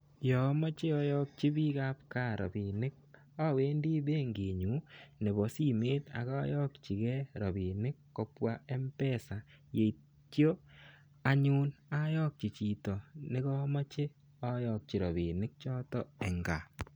Ya amache ayakyi pikab ka rapinik, awendi benkinyun nebo simet ak ayakyi ge rapinik kobwa mpesa, yeityo anyun ayakyi chito negamache ayakyi rapinik choto eng ka.